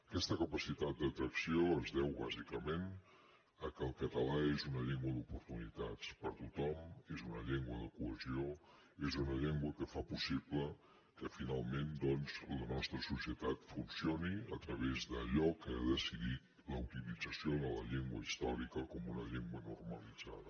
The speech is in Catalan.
aquesta capacitat d’atracció es deu bàsicament al fet que el català és una llengua d’oportunitats per a tothom és una llengua de cohesió és una llengua que fa possible que finalment doncs la nostra societat funcioni a través d’allò que ha decidit la utilització de la llengua històrica com una llengua normalitzada